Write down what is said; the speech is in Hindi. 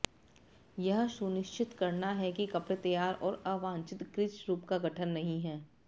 यह सुनिश्चित करना है कि कपड़े तैयार और अवांछित क्रीज रूप का गठन नहीं है